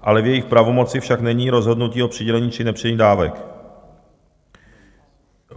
ale v jejich pravomoci však není rozhodnutí o přidělení či nepřidělení dávek.